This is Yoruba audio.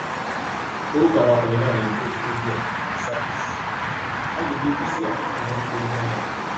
orúkọ àwọn ọkùnrin náà ni josh oduor àti sakis àgbègbè busia ni wọn ń gbé ní kẹńyà